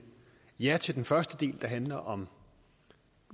ja til den første del der handler om